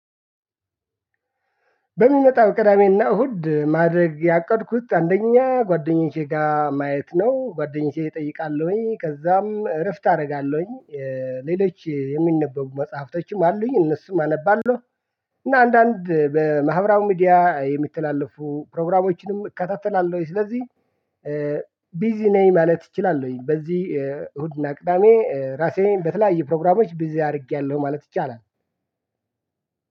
በሚመጣው ቅዳሜና እሁድ ማድረግ ያቀድኩት አንደኛ ጓደኞቼ ጋር ማየት ነው ጓደኞቼ እጠይቃለሁኝ ከዛም እረፍት አደርጋለሁኝ። ሌሎች የሚነበቡ መጽሐፍቶችም አሉኝ እነሱም አነባለሁ። እና አንዳንድ በማህበራዊ ሚዲያ የሚተላለፉ ፕሮግራሞችንም እከታተላለሁኝ። ስለዚህ ቢዚ ነኝ ማለት እችላለሁኝ። በዚህ እሁድ እና ቅዳሜ ራሴን በተለያየ ፕሮግራሞች ቢዚ አድርጌያለሁ ማለት ይቻላል።